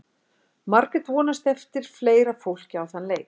Margrét vonast eftir fleira fólki á þann leik.